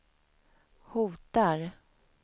hotar